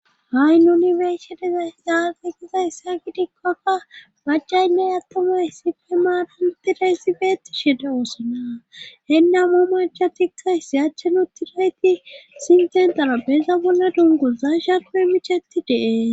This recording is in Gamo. Hay nunibershedeza zaagegizayssa kidikkoakka macaynney attomay essife maaran tiraysifeeti shede woosona henna mo machatisay siyachenu tirayti sinten danappeza bonna dunguza sha qoe michetti dee